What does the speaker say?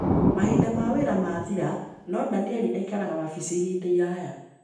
Mahinda ma wĩra maathira, no Daniel aikaraga wabici ihinda iraya.